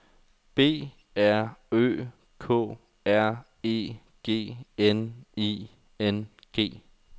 B R Ø K R E G N I N G